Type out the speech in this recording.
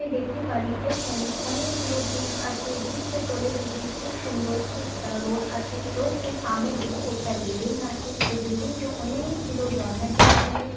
দেখতে পারি এইখানেও অনেকগুলো ব্রিকস আছে ব্রিজ -তে তলের দিকে খুব সুন্দর একটা রোড আছে রোস্টের সামনের দিকে একটা বিল্ডিং আছে ওই বিল্ডিং -টো অনে-এ-কগুলো গেল আছে।